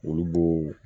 Olu b'o